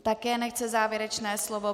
Také nechce závěrečné slovo.